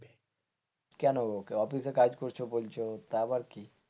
কেন? অফিসের কাজ করছো বলছো তা আবার কি।